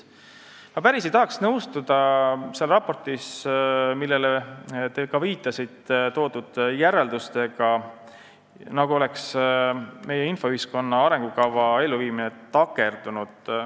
Ma ei tahaks päris nõustuda seal raportis, millele te ka viitasite, toodud järeldustega, nagu oleks meie infoühiskonna arengukava elluviimine takerdunud.